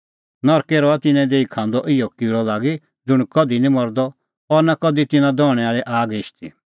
ज़िधी तिन्नों किल़अ निं मरदअ और आग निं हिशदी